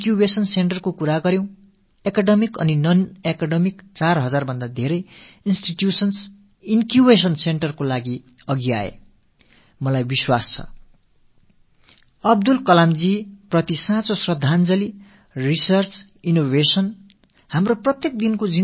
ஆராய்ச்சிகள் மேற்கொள்ளல் புதுமைகள் படைத்தல் நமது அன்றாட வாழ்வில் நாம் சந்திக்கும் பிரச்சனைகளுக்கு தொழில்நுட்பம் வாயிலாக தீர்வுகள் தேடல் நமது இடர்பாடுகளிலிருந்து விடுதலை பெற எளிமையாக்குதல் ஆகியன தான் அப்துல் கலாம் அவர்களுக்கு நாம் செலுத்தக் கூடிய உண்மையான அஞ்சலி என்பதை நான் தீர்மானமாக நம்புகிறேன்